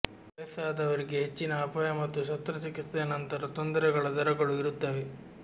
ವಯಸ್ಸಾದವರಿಗೆ ಹೆಚ್ಚಿನ ಅಪಾಯ ಮತ್ತು ಶಸ್ತ್ರಚಿಕಿತ್ಸೆಯ ನಂತರ ತೊಂದರೆಗಳ ದರಗಳು ಇರುತ್ತವೆ